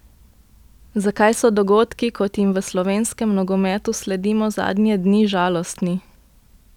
Zakaj so dogodki, kot jim v slovenskem nogometu sledimo zadnje dni, žalostni?